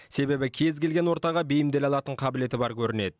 себебі кез келген ортаға бейімделе алатын қабілеті бар көрінеді